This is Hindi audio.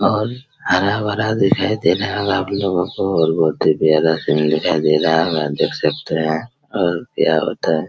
और हरा-भरा दिखाई दे रहा होगा आप लोगों को और बहुत ही प्यार दिखाई दे रहा होगा आप देख सकते है हम क्या बताये।